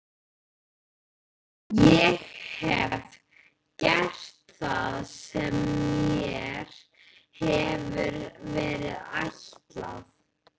Ég hef gert það sem mér hefur verið ætlað.